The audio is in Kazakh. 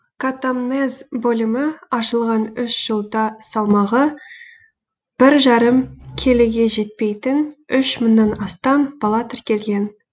катамнез бөлімі ашылған үш жылда салмағы бір жарым келіге жетпейтін үш мыңнан астам бала тіркелген